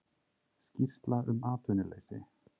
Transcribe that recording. Skýrsla um atvinnuleysi